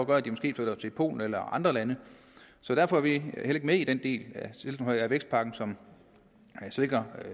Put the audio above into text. gør at de måske flytter til polen eller andre lande så derfor er vi ikke med i den del af vækstpakken som sænker